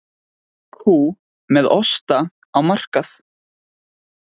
Kú með osta á markað